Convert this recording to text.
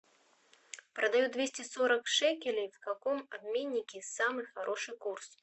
продаю двести сорок шекелей в каком обменнике самый хороший курс